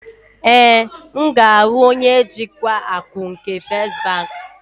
Ee, m ga-ahụ onye njikwa akụ nke First bank.